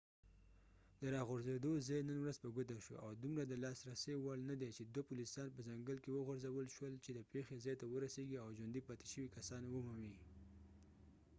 د راغورځېدو ځای نن ورځ په ګوته شو او دومره د لاسرسۍ وړ نه دی چې دوه پولیسان په ځنګل کې وغورځول شول چې د پیښې ځای ته ورسيږي او ژوندي پاتې شوي کسان ومومي